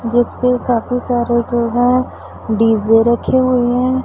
जिस पर काफी सारे जो है डी_जे रखी हुई है।